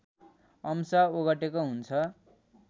अंश ओगटेको हुन्छ